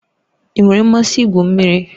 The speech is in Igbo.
Ị nwere mmasị igwu mmiri?